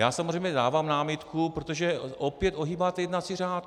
Já samozřejmě dávám námitku, protože opět ohýbáte jednací řád.